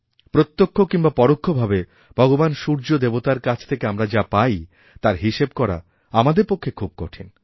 প্রত্যক্ষ কিংবা পরোক্ষভাবে ভগবান সূর্য দেবতারকাছ থেকে আমরা যা পাই তার হিসেব করা আমাদের পক্ষে খুব কঠিন